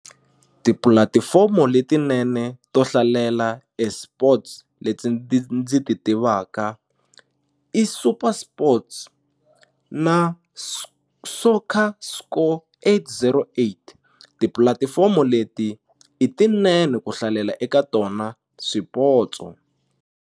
Tipulatifomo letinene to hlalela eSports leti ndzi ti tivaka i SuperSports na Soccer Scorer eight zero eight tipulatifomo leti i tinene ku hlalela eka tona swipotso.